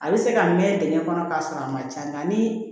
A bɛ se ka mɛn dɛgɛ kɔnɔ k'a sɔrɔ a ma ca nka ni